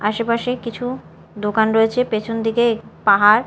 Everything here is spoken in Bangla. আশেপাশে কিছু দোকান রয়েছে পেছনদিকে পাহাড়।